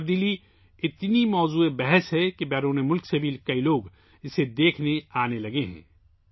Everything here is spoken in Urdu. اس تبدیلی کا اتنا چرچا ہے کہ بیرون ملک سے بہت سے لوگ اسے دیکھنے آنے لگے ہیں